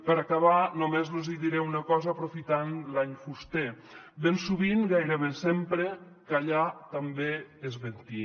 per acabar només los hi diré una cosa aprofitant l’any fuster ben sovint gairebé sempre callar també és mentir